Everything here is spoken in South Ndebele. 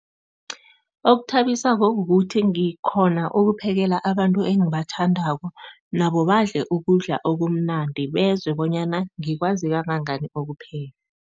Okuthabisako kukuthi ngikghona ukuphekela abantu engibathandako nabo badle ukudla okumnandi, bezwe bonyana ngikwazi kangangani ukupheka.